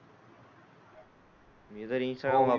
मी तर इंस्टाग्राम.